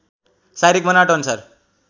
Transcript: शारीरिक बनावट अनुसार